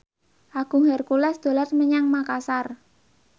Agung Hercules dolan menyang Makasar